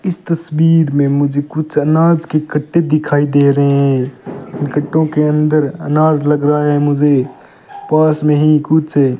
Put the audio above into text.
इस तस्वीर में मुझे कुछ अनाज की कट्टे दिखाई दे रहे हैं कट्टों के अंदर अनाज लग रहा है मुझे पास में ही कुछ --